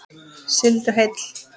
Sigldu heill.